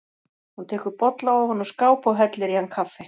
Hún tekur bolla ofan úr skáp og hellir í hann kaffi.